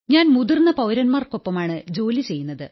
ഞാൻ മുതിർന്ന പൌരന്മാർക്കൊപ്പമാണ് ജോലി ചെയ്യുന്നത്